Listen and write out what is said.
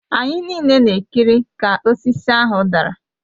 Anyị niile na-ekiri ka osisi ahụ dara